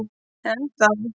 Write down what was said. Enn þá.